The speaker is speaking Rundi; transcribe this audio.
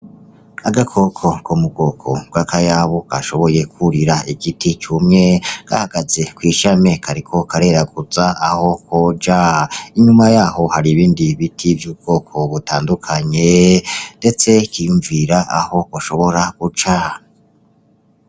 Agakoko ko mu bwoko bw'akayabu kashoboye kwurira igiti cumye. Gahagaze kw'ishami kariko kareraguza aho koja. Inyuma yaho hari ibindi biti vy'ubwoko butandukanye ndetse kiyunvira aho gashobora guca.